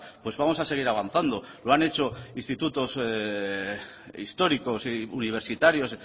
pues vamos a seguir avanzando lo han hecho institutos históricos y universitarios